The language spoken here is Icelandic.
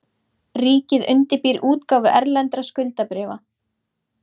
Ríkið undirbýr útgáfu erlendra skuldabréfa